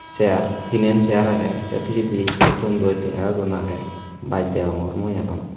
seiar tinen seira aage se pijedi ye tonnoi tengera don aage baj deyongor mui aro.